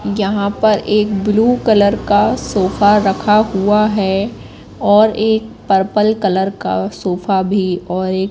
यहां पर एक ब्लू कलर का सोफा रखा हुआ है और एक पर्पल कलर का सोफा भी और एक--